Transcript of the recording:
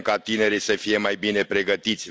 Vrem ca tinerii să fie mai bine pregătiți.